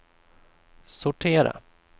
sortera